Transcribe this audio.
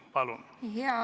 Palun!